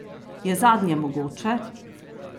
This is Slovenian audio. Je zadnje mogoče?